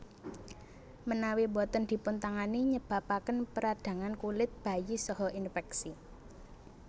Menawi boten dipun tangani nyebabaken peradangan kulit bayi saha infeksi